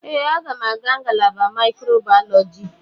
Ee, m ga-aga ngalaba microbiology.